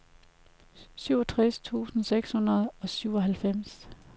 syvogtres tusind seks hundrede og syvoghalvfems